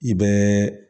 I bɛ